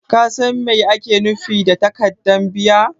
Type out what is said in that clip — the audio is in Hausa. Ka San Mai ake nufi da takaddan biya?